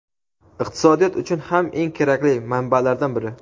iqtisodiyot uchun ham eng kerakli manbalardan biri.